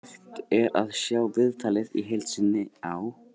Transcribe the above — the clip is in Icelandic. Hægt er að sjá viðtalið í heild sinni á